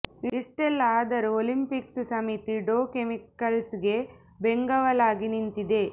ಇಷ್ಟೆಲ್ಲಾ ಆದರೂ ಒಲಂಪಿಕ್ಸ್ ಸಮಿತಿ ಡೋ ಕೆಮಿಕಲ್ಸ್ ಗೆ ಬೆಂಗಾವಲಾಗಿ ನಿಂತಿದೆ